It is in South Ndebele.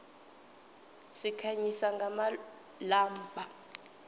sikhanyisa ngamalombha